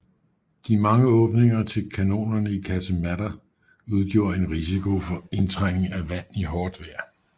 De mange åbninger til kanonerne i kasematter udgjorde en risiko for indtrængning af vand i hårdt vejr